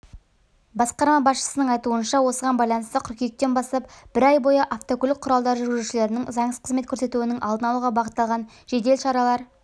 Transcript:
басқарма басшысының айтуынша осыған байланысты қыркүйектен бастап бір ай бойы автокөлік құралдары жүргізушілерінің заңсыз қызмет көрсетуінің алдын алуға бағытталған жедел шаралар